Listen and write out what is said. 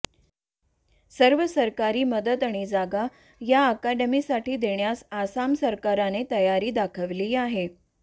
सर्व सरकारी मदत आणि जागा या अकादमीसाठी देण्यास आसाम सरकारने तयारी दाखवलेली आहे